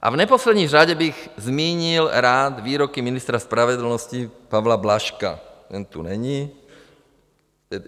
A v neposlední řadě bych zmínil rád výroky ministra spravedlnosti Pavla Blažka, ten tu není...